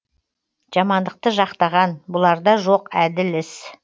жамандықты жақтаған бұларда жоқ әділ іс